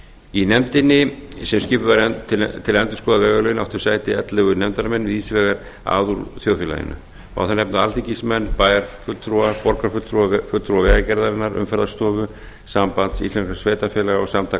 í nefndinni sem skipuð var til að endurskoða vegalögin áttu sæti ellefu nefndarmenn víðsvegar að úr þjóðfélaginu má þar nefna alþingismenn bæjarfulltrúa borgarfulltrúa vegagerðarinnar umferðarstofu samband íslenskra sveitarfélaga og samtök